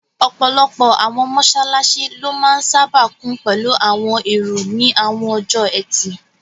Ọ̀pọ̀lọpọ̀ àwọn mọ́sálásí ló máa n sáábà kún pẹ̀lú àwọn èrò ní àwọn ọjọ́ ẹtì